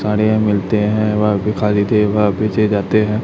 साड़िया मिलते है वह भी खाली थे वह पीछे जाते है।